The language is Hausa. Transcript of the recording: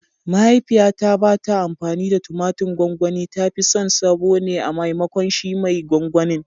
Mahaifiyata ba ta amfani da tumatir gwangwani, ta fi son sabo ne a maimakon shi mai gwangwanin.